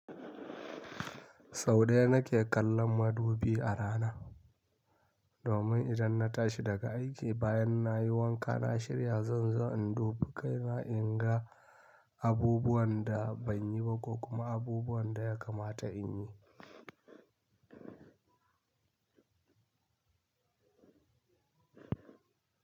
Sau ɗaya na ke kallon madubi a rana, domin idan na tashi daga aiki bayan na yi wanka na shirya zanzan in dubi kai na in ga abubuwan da ban yi ba ko kuma abubuwan da ya kamata in yi.